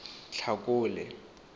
tlhakole